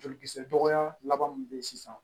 Jolikisɛ dɔgɔya laban min be yen sisan